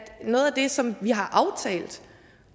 noget af det som vi har aftalt